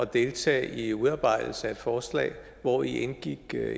deltage i udarbejdelsen af et forslag hvori indgik